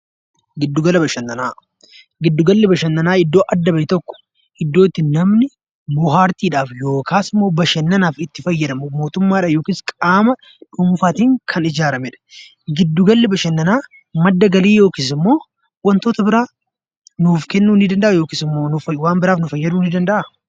Giddu galli bashannanaa iddoo adda bahe tokko iddoo namni bohaartiidhaaf yookiis immoo bashannanaaf itti fayyadamu mootummadhaan yookaan nama dhuunfaatiin kan ijaaramedha. Giddu galli bashannanaa madda galii yookiin wantoota biroo nuuf kennuu ni danda'aa yookiis waan biroof nu fayyaduu danda'aa?